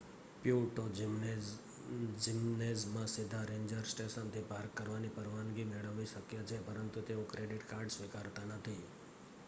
Puerto જિમ્નેઝમાં સીધા ranger સ્ટેશનથી પાર્ક કરવાની પરવાનગી મેળવવી શક્ય છે પરંતુ તેઓ ક્રેડિટ કાર્ડ સ્વીકારતા નથી